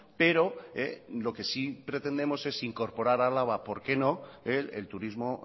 pero lo que sí pretendemos es incorporar álava por qué no el turismo